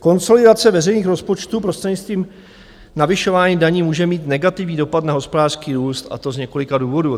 Konsolidace veřejných rozpočtů prostřednictvím navyšování daní může mít negativní dopad na hospodářský růst, a to z několika důvodů.